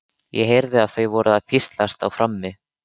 Ég heyrði að þau voru að hvíslast á frammi.